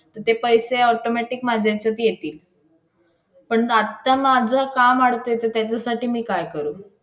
तिने त्या बाईंनी काढलेला ना त्या बाईंनी त्या माणसाला भाऊ करून मानले त्या बाईंनी आणलेल्या तो काय बोलला कुठे तुम्हाला जागा पाहिजे ते येथे मोठे मोठे office आहे private office तिथं कोणी जेवण.